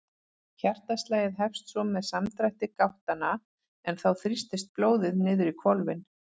Hjartaslagið hefst svo með samdrætti gáttanna en þá þrýstist blóðið niður í hvolfin.